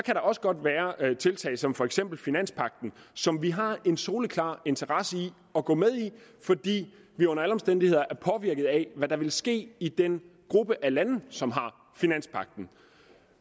også godt være tiltag som for eksempel finanspagten som vi har en soleklar interesse i at gå med i fordi vil under alle omstændigheder vil påvirket af det der vil ske i den gruppe af lande som har finanspagten